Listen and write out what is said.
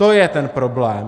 To je ten problém.